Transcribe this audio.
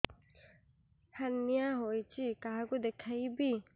hernia ହୋଇଛି କାହାକୁ ଦେଖେଇବି